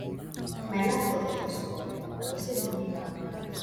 my laptop don spoil i go save moni buy anoda one